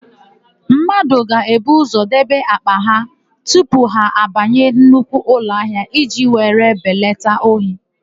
Mmadụ ga-ebu ụzọ debe àkpà ha tupu ha abanye nnukwu ụlọahịa iji were belata ohi.